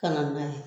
Ka na n'a ye